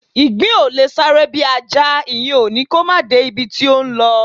Ìgbín ò lè sáré bí Ajá; ìyẹn ò ní kó máà de ibi tó ńlọ.